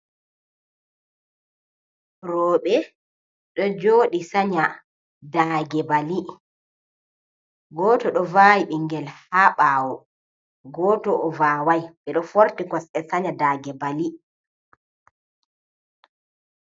Rewɓe, ɗon jooɗi sa'nya, daage bali, gooto ɗon vawi bingel haa ɓawo, gooto o vawai, ɓeɗon forti kosɗe sanya daage bali.